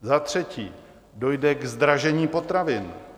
Za třetí dojde k zdražení potravin.